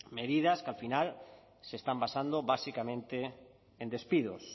medidas que al final se están basando básicamente en despidos